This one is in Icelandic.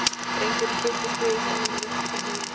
Drengurinn kipptist við í stólnum og rykkti til höfðinu.